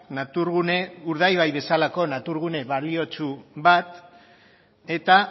urdaibai bezalako naturgune baliotsu bat eta